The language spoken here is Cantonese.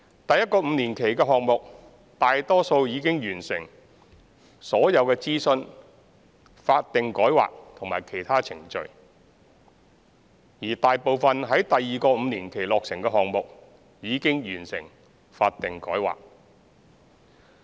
第一個5年期的項目大多數已經完成所有諮詢、法定改劃和其他程序，而大部分於第二個5年期落成的項目已經完成法定改劃。